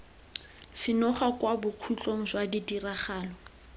senoga kwa bokhutlong jwa ditiragalo